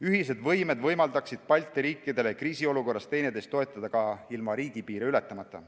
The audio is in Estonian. Ühised võimed võimaldaksid Balti riikidel kriisiolukorras üksteist toetada ka ilma riigipiire ületamata.